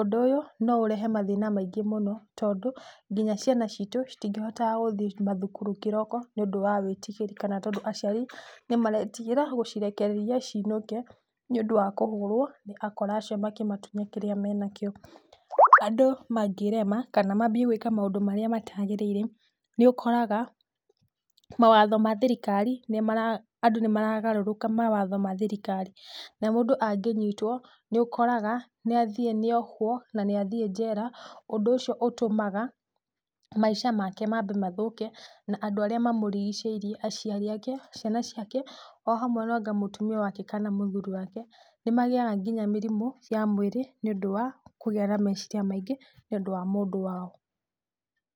Ũndũ ũyũ no ũrehe mathĩna maingĩ mũno tondũ nginya ciana ciitũ citingĩhotaga gũthiĩ mathukuru kĩroko nĩũndũ wa wĩtigĩri, kana tondũ aciari nĩmaretigĩra gũcirekereria ciinũke nĩũndũ wa kũhũrwo nĩ akora acio makĩmatunya kĩrĩa menakĩo. Andũ mangĩrema kana mambie gwĩka maũndũ marĩa matagĩrĩire, nĩũkoraga mawatho ma thirikari, nĩmara, andũ nĩmaragarũrũka mawatho ma thirikari. Na mũndũ angĩnyitwo nĩũkoraga nĩathiĩ nĩohwo na nĩathiĩ njera, ũndũ ũcio ũtũmaga maisha make mambe mathũke, na andũ arĩa mamũrigicĩirie aciari ake, ciana ciake ohamwe noanga mũtumia wake kana mũthuri wake, nĩmagĩaga nginya mĩrimũ ya mwĩrĩ nĩũndũ wa kũgĩa na meciria maingĩ nĩũndũ wa mũndũ wao.